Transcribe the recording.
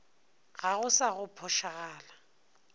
ga go sa go phošagala